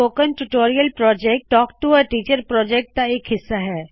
spoken tutorial project talk to a teacher project ਦਾ ਇਕ ਹਿੱਸਾ ਹੈ